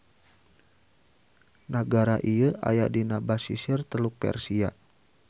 Nagara ieu aya dina basisir Teluk Persia.